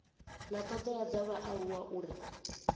na thodea dza vhaaluwa uri